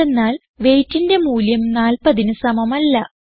എന്തെന്നാൽ weightന്റെ മൂല്യം 40ന് സമമല്ല